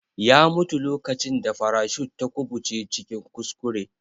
Ya mutu lokacin da farashut ta kubuce cikin kuskure.